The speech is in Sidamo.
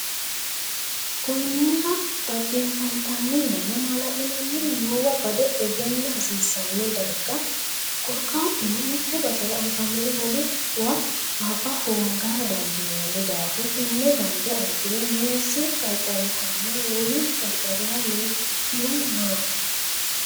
Konnira dhaggeeffantannirenna maala’linanniri noowa bade egenna hasiissanno darga Korkaatuno mitte basera anfannire wolewa afa hoongara dandiinanni daafo Tenne bande anfiro meessi qarqarihanna wolu qarqariha nookihu maati?